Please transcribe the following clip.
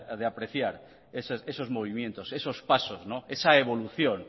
de apreciar esos movimientos esos pasos esa evolución